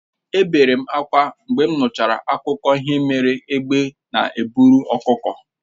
È obere m ákwá mgbe m nụrụ akụkọ ihe mere egbe na-eburu ọkụkọ